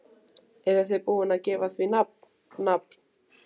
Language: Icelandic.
Eruð þið búin að gefa því nafn, nafn?